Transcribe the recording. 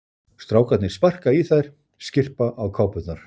Strákarnir sparka í þær, skyrpa á kápurnar.